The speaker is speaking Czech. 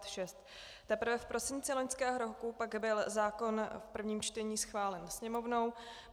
Teprve v prosinci loňského roku pak byl zákon v prvním čtení schválen Sněmovnou.